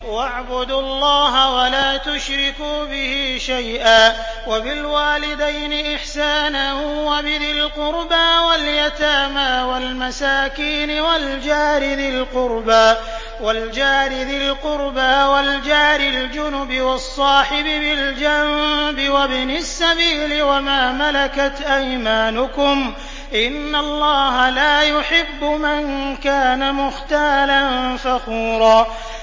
۞ وَاعْبُدُوا اللَّهَ وَلَا تُشْرِكُوا بِهِ شَيْئًا ۖ وَبِالْوَالِدَيْنِ إِحْسَانًا وَبِذِي الْقُرْبَىٰ وَالْيَتَامَىٰ وَالْمَسَاكِينِ وَالْجَارِ ذِي الْقُرْبَىٰ وَالْجَارِ الْجُنُبِ وَالصَّاحِبِ بِالْجَنبِ وَابْنِ السَّبِيلِ وَمَا مَلَكَتْ أَيْمَانُكُمْ ۗ إِنَّ اللَّهَ لَا يُحِبُّ مَن كَانَ مُخْتَالًا فَخُورًا